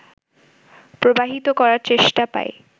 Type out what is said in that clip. প্রবাহিত করার চেষ্টা পাই